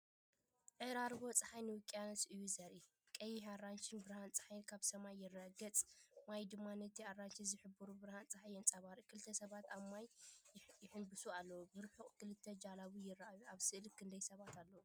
ዕራርቦ ጸሓይ ንውቅያኖስ እዩ ዘርኢ። ቀይሕን ኣራንሺን ብርሃን ጸሓይ ኣብ ሰማይ ይረአ፣ ገጽ ማይ ድማ ነቲ ኣራንሺ ዝሕብሩ ብርሃን ጸሓይ የንጸባርቕ። ክልተ ሰባት ኣብ ማይ ይሕንብሱ ኣለዉ። ብርሑቕ ክልተ ጀላቡ ይረኣያ። ኣብ ስእሊ ክንደይ ሰባት ኣለዉ?